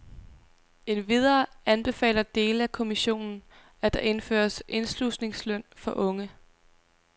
Endvidere anbefaler dele af kommissionen, at der indføres indslusningsløn for unge.